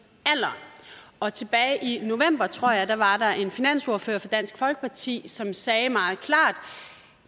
og tilbage i november tror jeg var der en finansordfører fra dansk folkeparti som sagde meget klart